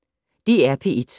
DR P1